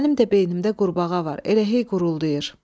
Mənim də beynimdə qurbağa var, elə hey quruldayır.